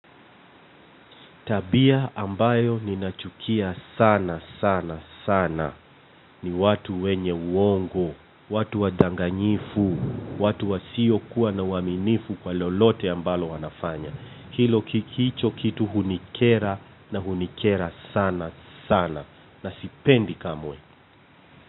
Tabia ambayo ninachukia sana sana sana. Ni watu wenye uongo, watu wadanganyifu, watu wa siyo kuwa na uaminifu kwa lolote ambalo wanafanya. Hicho kitu hunikera na hunikera sana sana. Na sipendi kamwe.